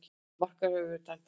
Markið hafði verið dæmt af